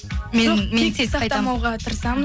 мен мен кек сақтамауға тырысамыз